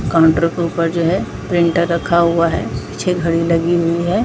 Counter के ऊपर जो है प्रिंटर रखा हुआ है अच्छी घड़ी लगी हुई हैं।